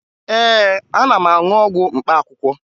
Ee, ana m aṅụ ọgwụ mkpaakwụkwọ